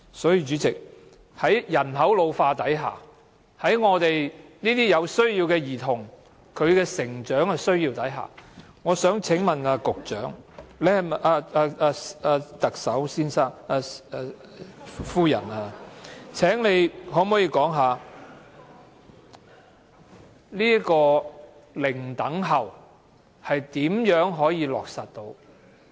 所以，主席，在人口老化下，在有需要的兒童的成長需要下，我想請問特首可否說說"零輪候"是如何得以落實？